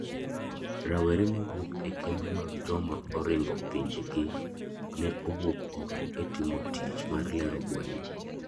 Rawere mawuok ekembe mag joma oringo pinje gi ne owuok oko e timo tich mar lero gwenge.